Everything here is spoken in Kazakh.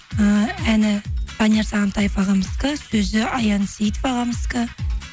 ііі әні данияр сағынтаев ағамыздікі сөзі аян сейітов ағамыздікі